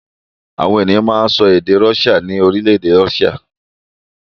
Àwọn ènìyàn máa ń sọ èdè Russia ní orílẹ̀-èdè Russia.